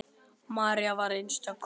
María var einstök kona.